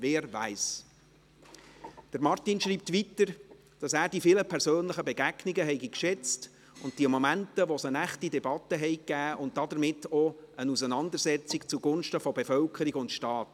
Wer weiss?» Martin Boss schreibt weiter, dass er die vielen persönlichen Begegnungen geschätzt habe und die Momente, wo es eine echte Debatte gegeben habe, und damit auch eine Auseinandersetzung zugunsten von Bevölkerung und Staat.